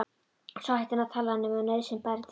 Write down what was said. Og svo hætti hann að tala nema nauðsyn bæri til.